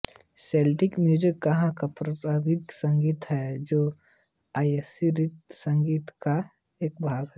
Celtic music यहाँ का पारमपरिक संगीत है जो आयरिश संगीत का एक भाग है